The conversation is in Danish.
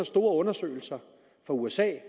store undersøgelser fra usa